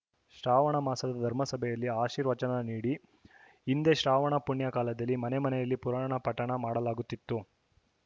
ಶ್ರಾವಣ ಮಾಸದ ಧರ್ಮಸಭೆಯಲ್ಲಿ ಆಶೀರ್ವಚನ ನೀಡಿ ಹಿಂದೆ ಶ್ರಾವಣ ಪುಣ್ಯ ಕಾಲದಲ್ಲಿ ಮನೆಮನೆಯಲ್ಲಿ ಪುರಾಣ ಪಠಣ ಮಾಡಲಾಗುತ್ತಿತ್ತು